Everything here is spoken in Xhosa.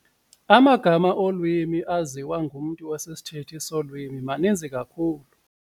Amagama olwimi aziwa ngumntu osisithethi solwimi maninzi kakhulu.